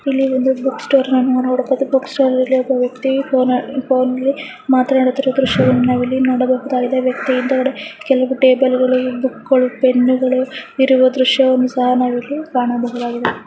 ಇಲ್ಲಿ ಒಂದು book store ನಾ ನಾವು ನೋಡಬಹುದು. ಬುಕ್ ಸ್ಟೋರ್ ಅಲ್ಲಿ ಒಬ್ಬಾ ವ್ಯಕ್ತಿ ಫೋನ್ ಫೋನ್ ಅಲ್ಲಿ ಮಾತನಾಡುತ್ತಿರುವ ದೃಶವನ್ನು ನಾವಿಲ್ಲಿ ನೋಡಬಹುದಾಗಿದೆ. ವ್ಯಕ್ತಿ ಹಿಂದಗಡೆ ಕೆಲವು ಟಬೇಲ್ ಗಳು ಬುಕ್ ಗಳು ಪೆಣ್ ಗಳು ಇರುವ ದೃಶ್ಯವನ್ನು ಸಹಾ ನಾವ್ ಇಲ್ಲಿ ಕಾಣಬಹುದಾಗಿದೆ.